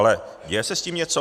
Ale děje se s tím něco?